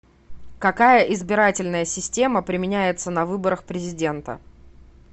какая избирательная система применяется на выборах президента